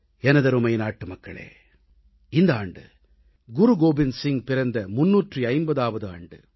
எனதருமை நாட்டுமக்களே இந்த ஆண்டு குருகோவிந்த் சிங் பிறந்த 350ஆவது ஆண்டு